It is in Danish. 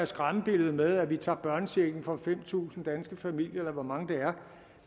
skræmmebilledet med at vi tager børnechecken fra fem tusind danske familier eller hvor mange det